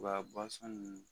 Wa nunnu